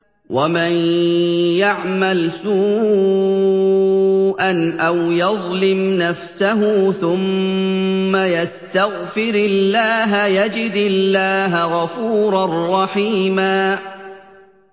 وَمَن يَعْمَلْ سُوءًا أَوْ يَظْلِمْ نَفْسَهُ ثُمَّ يَسْتَغْفِرِ اللَّهَ يَجِدِ اللَّهَ غَفُورًا رَّحِيمًا